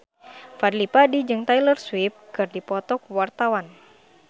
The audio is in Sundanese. Fadly Padi jeung Taylor Swift keur dipoto ku wartawan